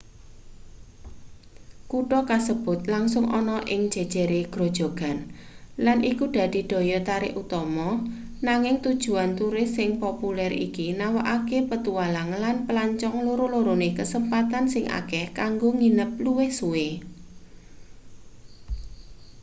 kutha kasebut langsung ana ing jejere grojogan lan iku dadi daya tarik utama nanging tujuan turis sing populer iki nawakake petualang lan pelancong loro-lorone kesempatan sing akeh kanggo nginep luwih suwe